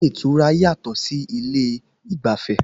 Ilé ìtura yàtọ̀ sí ilé ìgbafẹ́